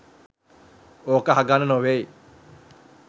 ඕක අහගන්න නොවෙයි